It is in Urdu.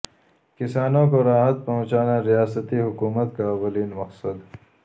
کسانوں کو راحت پہنچانا ریاستی حکومت کا اولین مقصد